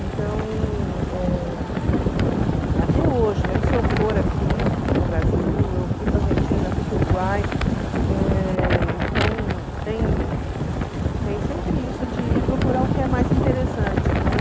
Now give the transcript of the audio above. Então, eh até hoje, mesmo se eu for aqui no Brasil, eu fui para a Argentina, fui para o Uruguai, eh então tem tem sempre isso de ir procurar o que é mais interessante, né?